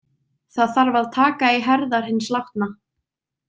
Það þarf að taka í herðar hins látna.